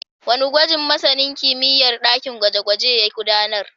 Wane gwaji masanin kimiyyar dakin gwaje-gwaje ya gudanar?